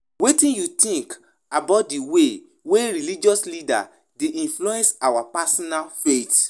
Wetin you think about di way wey religious leaders dey influence our personal faith?